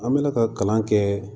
An bɛla ka kalan kɛ